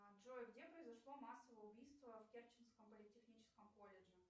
джой где произошло массовое убийство в керченском политехническом колледже